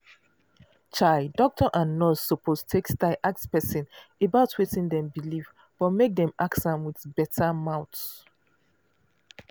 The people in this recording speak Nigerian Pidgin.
chai doctor and nurse suppose take style ask person about wetin dem believe but make dem ask am with better mouth.